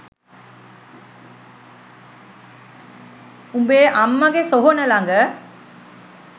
උබේ අම්මගේ සොහොන ළග.